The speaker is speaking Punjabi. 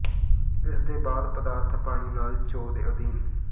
ਇਸ ਦੇ ਬਾਅਦ ਪਦਾਰਥ ਪਾਣੀ ਨਾਲ ਚੋਅ ਦੇ ਅਧੀਨ